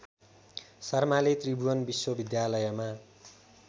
शर्माले त्रिभुवन विश्वविद्यालयमा